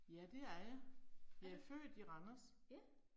Ja det er jeg. Jeg er født i Randers